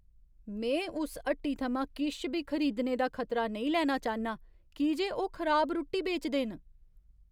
में उस हट्टी थमां किश बी खरीदने दा खतरा नेईं लैना चाह्न्नां की जे ओह् खराब रुट्टी बेचदे न।